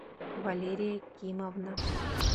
валерия кимовна